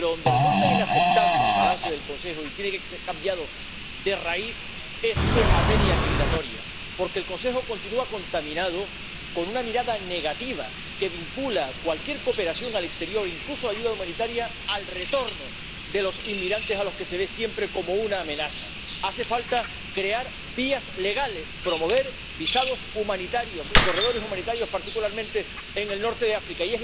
Pero en lo que resulta inaceptable el balance del Consejo y tiene que ser cambiado de raíz es en materia migratoria, porque el Consejo continúa contaminado con una mirada negativa que vincula cualquier cooperación exterior, incluso la ayuda humanitaria, al retorno de los inmigrantes, a los que se ve siempre como una amenaza. Hace falta crear vías legales, promover visados humanitarios y corredores humanitarios, particularmente en el norte de África.